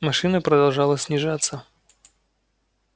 машина продолжала снижаться